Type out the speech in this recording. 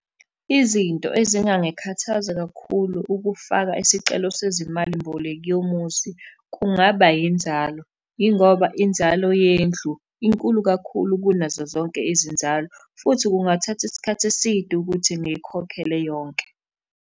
Izinto ezingangikhathaza kakhulu ukufaka isicelo sezimali mboleko yomuzi, kungaba inzalo, yingoba inzalo yendlu inkulu kakhulu kunazo zonke izinzalo, futhi kungathatha isikhathi eside ukuthi ngiyikhokhele yonke.